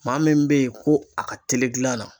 Maa min bɛ yen ko a ka teli gilan na.